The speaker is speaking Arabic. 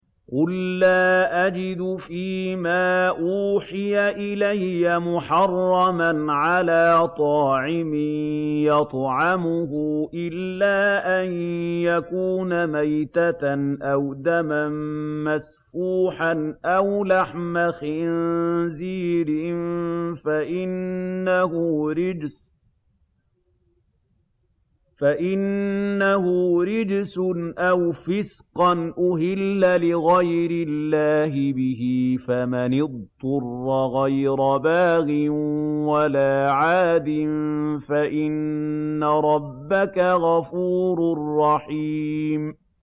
قُل لَّا أَجِدُ فِي مَا أُوحِيَ إِلَيَّ مُحَرَّمًا عَلَىٰ طَاعِمٍ يَطْعَمُهُ إِلَّا أَن يَكُونَ مَيْتَةً أَوْ دَمًا مَّسْفُوحًا أَوْ لَحْمَ خِنزِيرٍ فَإِنَّهُ رِجْسٌ أَوْ فِسْقًا أُهِلَّ لِغَيْرِ اللَّهِ بِهِ ۚ فَمَنِ اضْطُرَّ غَيْرَ بَاغٍ وَلَا عَادٍ فَإِنَّ رَبَّكَ غَفُورٌ رَّحِيمٌ